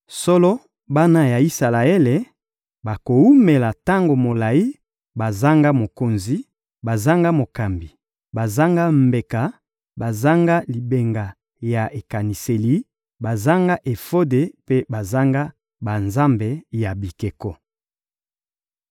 Solo, bana ya Isalaele bakowumela tango molayi bazanga mokonzi, bazanga mokambi, bazanga mbeka, bazanga libanga ya ekaniseli, bazanga efode mpe bazanga banzambe ya bikeko.